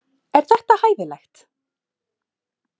Er þetta hæfilegt?